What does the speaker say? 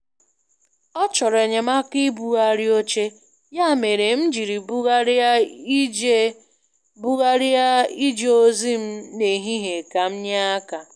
Ọ chọrọ enyemaka ibugharị oche, ya mere m jiri bugharịa ije bugharịa ije ozi m n' ehihie ka m nye aka.